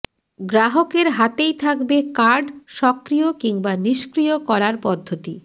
গ্রাহকের হাতেই থাকবে কার্ড সক্রিয় কিংবা নিষ্ক্রিয় করার পদ্ধতি